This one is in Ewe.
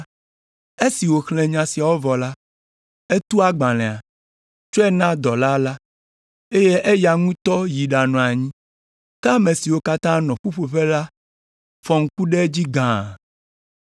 Esi wòxlẽ nya siawo vɔ la, etu agbalẽa, tsɔe na dɔla la, eye eya ŋutɔ yi ɖanɔ anyi. Ke ame siwo katã nɔ ƒuƒoƒea la fɔ ŋku ɖe edzi gãa.